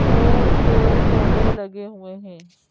और पेड़-पौधे लगे हुए हैं।